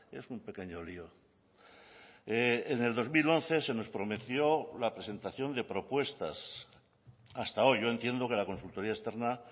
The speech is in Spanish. es un pequeño lío en el dos mil once se nos prometió la presentación de propuestas hasta hoy yo entiendo que la consultoría externa